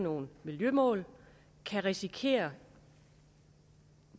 nogle miljømål kan risikere